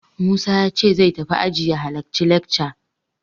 Musa ya ce zai tafi aji ya halacci lekca.